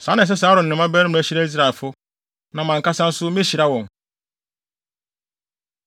“Saa na ɛsɛ sɛ Aaron ne ne mmabarima hyira Israelfo, na mʼankasa nso mehyira wɔn.”